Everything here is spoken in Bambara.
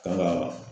Kan ka